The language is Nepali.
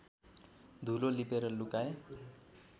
धुलो लिपेर लुकाए